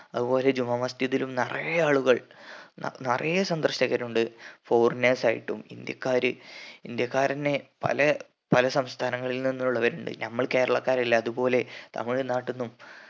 അതുപോലെ ജുമാ മസ്ജിദിലും നിറയെ ആളുകൾ നിറയെ സന്ദർശകർ ഉണ്ട് foreigners ആയിട്ടും ഇന്ത്യക്കാര് ഇന്ത്യക്കാർ തന്നെ പല പല സംസ്ഥാനങ്ങളിൽ നിന്നുള്ളവരുണ്ട് നമ്മള് കേരളക്കാര് ഇല്ലേ അതുപോലെ തമിഴ്‌നാട്ടീന്നും